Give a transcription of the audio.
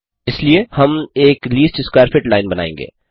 इसलिए हम एक लीस्ट स्कवैर फिट लाइन बनायेंगे